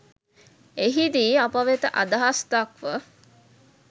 එහිදී අප වෙත අදහස් දක්ව